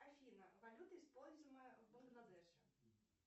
афина валюта используемая в бангладеше